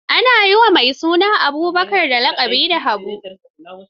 Ana yi wa mai suna Abubakar laƙabi da Habu.